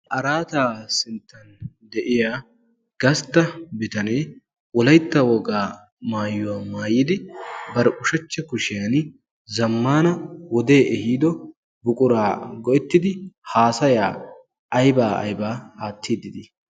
Araataa sinttan de'iya gastta bitanee wolaytta wogaa maayuwaa maayidi bari ushachcha kushiyan zammana wodee ehiido buquraa go'ettidi haasayaa aybaa aybaa aattiidi dii?